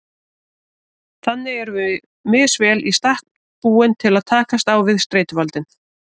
Þannig erum við misvel í stakk búin til að takast á við streituvaldinn.